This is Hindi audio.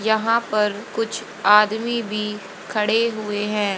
यहां पर कुछ आदमी भी खड़े हुए हैं।